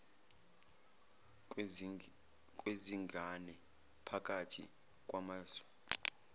kwezingane phakathi kwamazwe